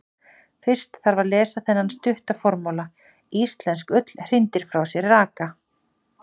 Fyrst þarf að lesa þennan stutta formála: Íslensk ull hrindir frá sér raka.